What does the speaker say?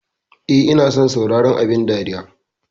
Eh ina son sauraron abun dariya.